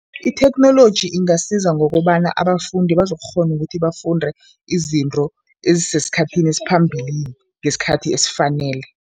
Itheknoloji ingasiza ngokobana abafundi bazokukghona ukuthi bafunde izinto ezisesikhathini esiphambilini ngesikhathi esifanele.